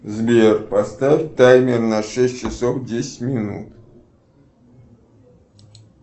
сбер поставь таймер на шесть часов десять минут